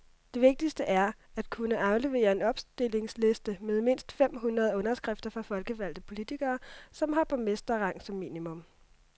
Det vigtigste er at kunne aflevere en opstillingsliste med mindst fem hundrede underskrifter fra folkevalgte politikere, som har borgmesterrang som minimum.